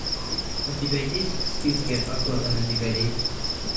у тебя есть в списке охота на дикарей